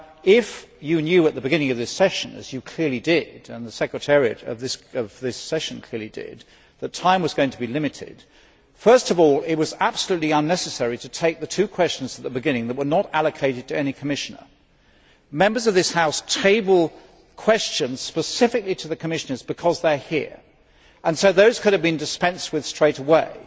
If you knew at the beginning of this sitting, as you clearly did, and the sessions secretariat did, that time was going to be limited, first of all, it was absolutely unnecessary to take the two questions at the beginning that were not allocated to any Commissioner. Members of this House table questions specifically to the Commissioners because they are here, and so those two could have been dispensed with straightaway.